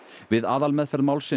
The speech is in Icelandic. við aðalmeðferð málsins